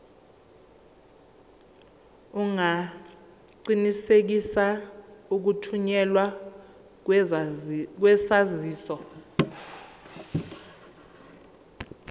ungaqinisekisa ukuthunyelwa kwesaziso